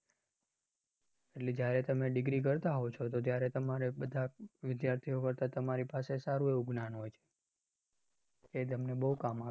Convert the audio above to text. એટલે જયારે તમે degree કરતા હોવ છો તો ત્યારે તમારે બધા વિદ્યાર્થીઓ કરતા તમારી પાસે સારું એવું જ્ઞાન હોઈ છે. જે તમને બોવ કામ આવે છે.